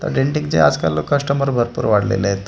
डेंटिंगचे आजकाल कस्टमर भरपूर वाढलेले आहेत .